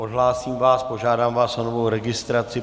Odhlásím vás, požádám vás o novou registraci.